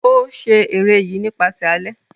O ṣe ere yi nipasẹ alẹ.